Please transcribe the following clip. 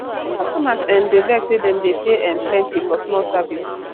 customers um dey vex say dem dey pay um plenty for small service